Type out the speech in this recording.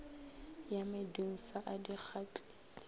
ya medunsa a di gatlile